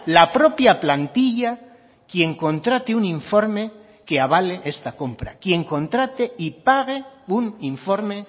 la propia plantilla quien contrate un informe que avale esta compra quien contrate y pague un informe